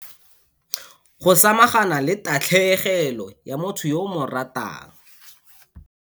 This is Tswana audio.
Go samagana le tatlhegelo ya motho yo o mo ratang.